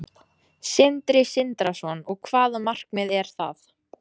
Sindri Sindrason: Og hvaða markmið er það?